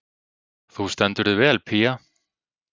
Þú stendur þig vel, Pía!